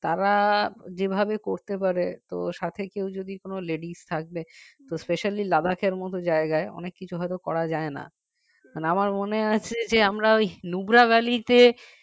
তারা যেভাবে করতে পারে তো সাথে কেউ যদি কোনও ladies থাকে তো specially Ladakh এর মতো জায়গায় অনেক কিছু হয়তো করা যায় না মানে আমার মনে আছে যে আমরা ওই nubra valley তে